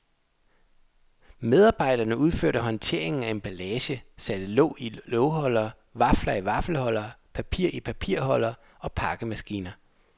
Medarbejderne udførte håndtering af emballage, satte låg i lågholdere, vafler i vaffelholdere, papir i papirholdere og pakkemaskiner.